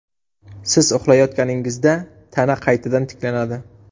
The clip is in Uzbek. Siz uxlayotganingizda tana qaytadan tiklanadi.